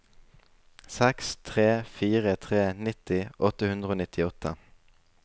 seks tre fire tre nitti åtte hundre og nittiåtte